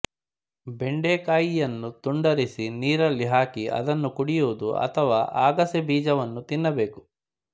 ಬೆಂಡೆಕಾಯಿಯನ್ನು ತುಂಡರಿಸಿ ನೀರಲ್ಲಿ ಹಾಕಿ ಅದನ್ನು ಕುಡಿಯುವುದು ಅಥವಾ ಅಗಸೆ ಬೀಜವನ್ನು ತಿನ್ನಬೇಕು